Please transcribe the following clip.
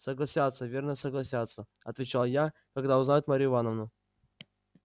согласятся верно согласятся отвечал я когда узнают марью ивановну